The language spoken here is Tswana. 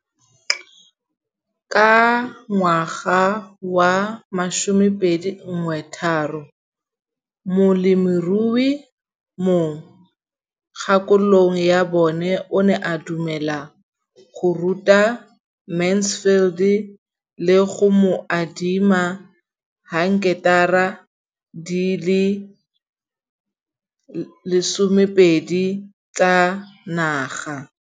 Ka ngwaga wa 2013, molemirui mo kgaolong ya bona o ne a dumela go ruta Mansfield le go mo adima di heketara di le 12 tsa naga.